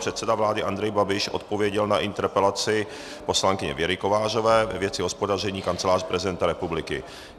Předseda vlády Andrej Babiš odpověděl na interpelaci poslankyně Věry Kovářové ve věci hospodaření Kanceláře prezidenta republiky.